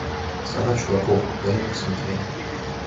страна чудаков дай мне посмотреть